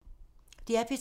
DR P3